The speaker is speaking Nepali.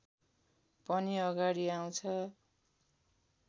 पनि अगाडि आउँछ